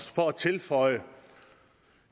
for at tilføje